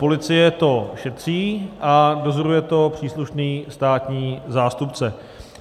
Policie to šetří a dozoruje to příslušný státní zástupce.